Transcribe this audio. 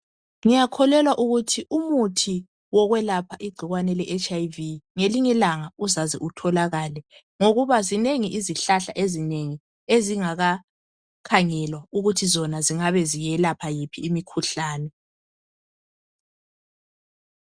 Ngiyakholelwa ukuthi umuthi wokwelapha igcikwane leHIV ngelinye ilanga uzaze utholakale ngokuba zinengi izihlahla ezinengi ezingakakhangelwa ukuthi zona zingabe ziyelapha yiphi imikhuhlane.